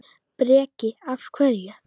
Breki: Af hverju?